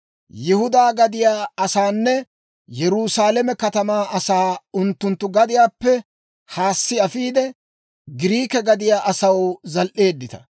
Yihudaa gadiyaa asaanne Yerusaalame katamaa asaa unttunttu gadiyaappe haassi afiide, Giriike gadiyaa asaw zal"eeddita.